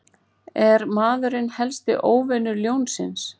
Er maðurinn helsti óvinur ljónsins?